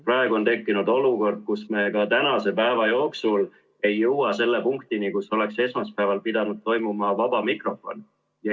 Praegu on tekkinud olukord, kus me ka tänase päeva jooksul ei jõua selle punktini, kus oleks esmaspäeval pidanud toimuma vaba mikrofon.